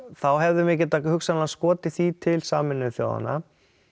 þá hefðum við getað hugsanlega skotið því til Sameinuðu þjóðanna